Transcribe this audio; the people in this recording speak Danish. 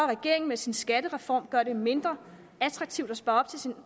regeringen med sin skattereform gør det mindre attraktivt at spare op til sin